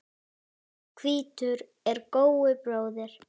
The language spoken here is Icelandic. Hvítur er góu bróðir.